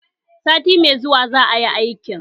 Sati mai zuwa za a yi aikin